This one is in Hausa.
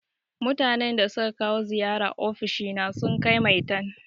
Mutanan da suka kawo ziyara ofishina sun kai maitan.